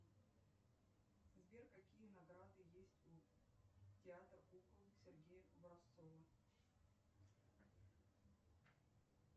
сбер какие награды есть у театра кукол сергея образцова